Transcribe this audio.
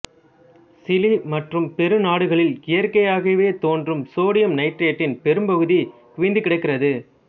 Chile மற்றும் Peru நாடுகளில் இயற்கையாகத் தோன்றும் சோடியம் நைட்ரேட்டின் பெரும்பகுதி குவிந்துகிடக்கிறது